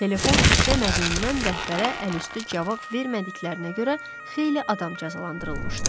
Telefon işləmədiyindən rəhbərə əlüstü cavab vermədiklərinə görə xeyli adam cəzalandırılmışdı.